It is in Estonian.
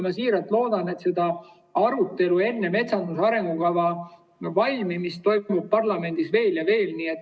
Ma siiralt loodan, et sellist arutelu enne metsanduse arengukava valmimist toimub parlamendis veel ja veel.